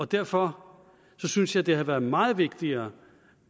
derfor synes jeg det ville have været meget vigtigere